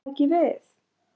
Hvað tæki við?